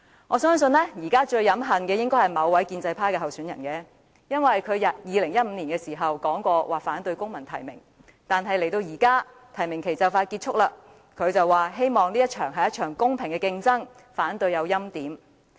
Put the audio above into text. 我相信現時最飲恨的應該是某位建制派參選人，她曾在2015年表示反對公民提名，但現在提名期即將結束，她卻說希望這是一場公平的競爭，反對欽點。